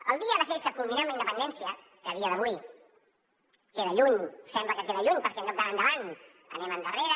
el dia de fet que culminem la independència que a dia d’avui queda lluny sembla que queda lluny perquè en lloc d’anar endavant anem endarrere